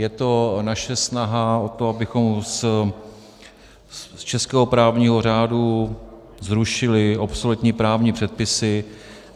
Je to naše snaha o to, abychom z českého právního řádu zrušili obsoletní právní předpisy.